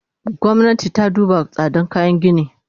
Gwamnati ta duba tsadan kayan gini!